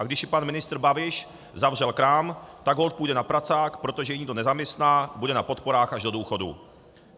A když jí pan ministr Babiš zavřel krám, tak holt půjde na pracák, protože ji nikdo nezaměstná, bude na podporách až do důchodu.